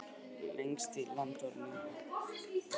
Lengst í landnorðri.